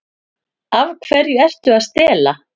Af hverju ertu að stela?